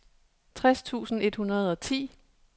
tres tusind et hundrede og ti